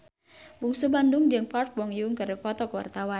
Bungsu Bandung jeung Park Bo Yung keur dipoto ku wartawan